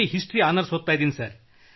history honours ಓದುತ್ತಿದ್ದೇನೆ